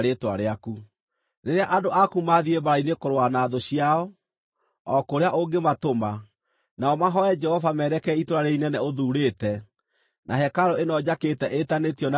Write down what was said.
“Rĩrĩa andũ aku maathiĩ mbaara-inĩ kũrũa na thũ ciao, o kũrĩa ũngĩmatũma, nao mahooe Jehova merekeire itũũra rĩĩrĩ inene ũthuurĩte na hekarũ ĩno njakĩte ĩĩtanĩtio na Rĩĩtwa rĩaku,